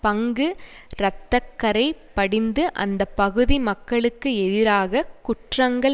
பங்கு இரத்த கறை படிந்து அந்த பகுதி மக்களுக்கு எதிராக குற்றங்கள்